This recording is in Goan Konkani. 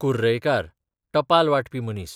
कुर्रैयकार, टपाल वांटपी मनीस